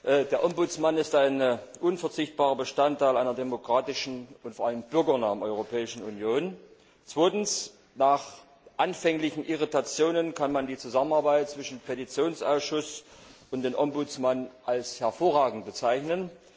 Erstens Der Ombudsmann ist ein unverzichtbarer Bestandteil einer demokratischen und vor allem bürgernahen Europäischen Union. Zweitens Nach anfänglichen Irritationen kann man die Zusammenarbeit zwischen dem Petitionsausschuss und dem Ombudsmann als hervorragend bezeichnen.